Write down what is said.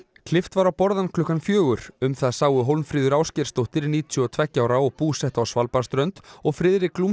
klippt var á borðann klukkan fjögur um það sáu Hólmfríður Ásgeirsdóttir níutíu og tveggja ára og búsett á Svalbarðsströnd og Friðrik